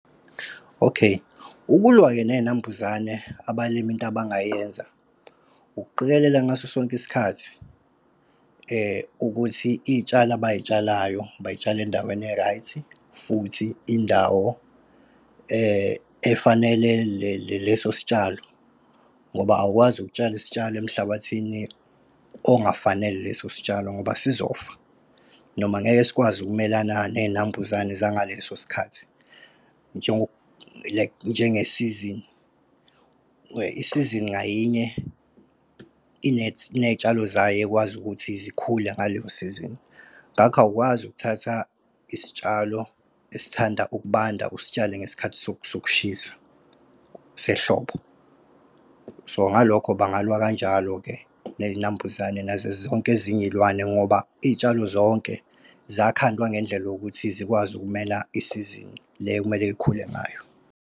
Okay. Ukulwa-ke ney'nambuzane, abalimi into abangayenza, ukuqikelela ngaso sonke isikhathi ukuthi iy'tshalo abay'tshalayo bay'tshale endaweni e-right, futhi indawo efanele leso sitshalo. Ngoba awukwazi ukutshala isitshalo emhlabathini ongafanele leso sitshalo, ngoba sizofa, noma ngeke sikwazi ukumelana ney'nambuzane zangaleso sikhathi like njengesizini. Where isizini ngayinye iney'tshalo zayo ekwazi ukuthi zikhule ngaleyo sizini. Ngakho awukwazi ukuthatha isitshalo esithanda ukubanda usitshale ngesikhathi sokushisa sehlobo. So ngalokho bangalwa kanjalo-ke ney'nambuzane nazo zonke ezinye iy'lwane ngoba iy'tshalo zonke zakhandwa ngendlela yokuthi zikwazi ukumele isizinin le ekumele ikhule ngayo.